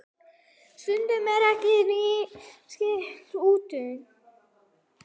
Stundum er ekki neitt útsýni!